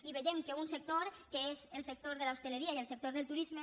i veiem que un sector que és el sector de l’hostaleria i el sector del turisme